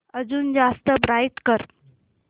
अजून जास्त ब्राईट कर